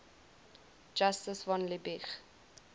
justus von liebig